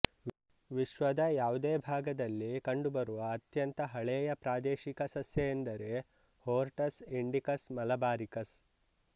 ವಿಶ್ವದ ಯಾವುದೇ ಭಾಗದಲ್ಲಿ ಕಂಡುಬರುವ ಅತ್ಯಂತ ಹಳೆಯ ಪ್ರಾದೇಶಿಕ ಸಸ್ಯ ಎಂದರೆ ಹೊರ್ಟಸ್ ಇಂಡಿಕಸ್ ಮಲಬಾರಿಕಸ್